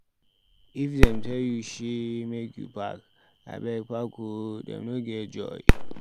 If dem tell you sey make you park, abeg park o dem no get joy.